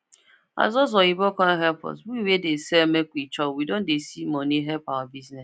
as those oyinbo come help us we wey dey sell make we chop we don see money help our bisuness